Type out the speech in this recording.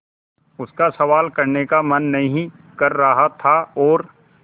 उसका सवाल करने का मन नहीं कर रहा था और